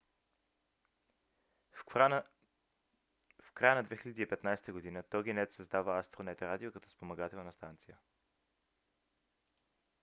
в края на 2015 г. toginet създава astronet radio като спомагателна станция